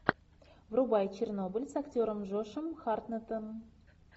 врубай чернобыль с актером джошем хартнеттом